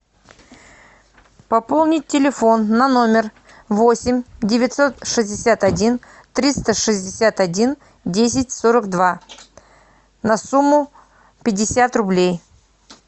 пополнить телефон на номер восемь девятьсот шестьдесят один триста шестьдесят один десять сорок два на сумму пятьдесят рублей